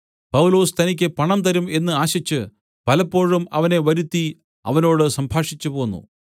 പൗലൊസ് തനിക്ക് പണം തരും എന്ന് ആശിച്ചു പലപ്പോഴും അവനെ വരുത്തി അവനോട് സംഭാഷിച്ചുപോന്നു